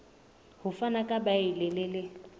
ho fana ka beile le